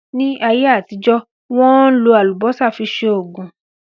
Ní ayé àtijọ́, Wọ́n ń lò Àlùbọ́sà fi ṣe Ògùn